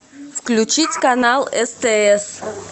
включить канал стс